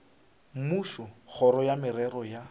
mmušo kgoro ya merero ya